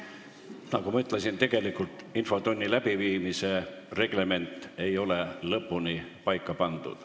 Nagu ma ütlesin, tegelikult ei ole infotunni läbiviimise reglement lõpuni paika pandud.